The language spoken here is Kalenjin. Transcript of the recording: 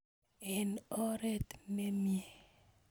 eng oret nemiee